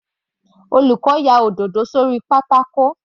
Olùkọ́ ya òdòdó sórí pátákó.